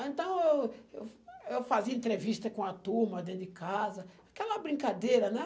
Então, eu eu eu fazia entrevista com a turma dentro de casa, aquela brincadeira, né?